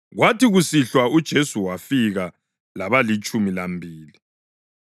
Kwathi kusihlwa uJesu wafika labalitshumi lambili.